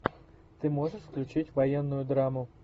ты можешь включить военную драму